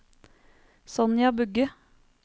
Sonja Bugge